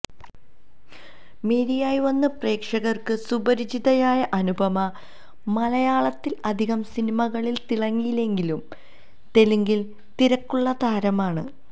മേരിയായി വന്ന് പ്രേക്ഷകര്ക്ക് സുപരിചിതയായ അനുപമ മലയാളത്തില് അധികം സിനിമകളിൽ തിളങ്ങിയില്ലെങ്കിലും തെലുങ്കില് തിരക്കുള്ള താരമാണ്